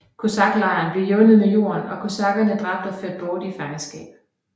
Kosaklejren blev jævnet med jorden og kosakkerne dræbt eller ført bort i fangenskab